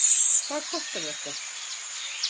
Hvað kostar þetta?